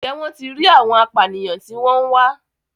Ǹjẹ́ wọ́n ti rí àwọn apànìyàn tí wọ́n ń wá?